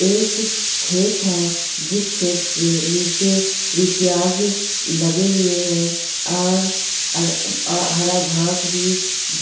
एक खेत है जिस खेत नीचे प्याज लगे हुए है और अ हरा घास भी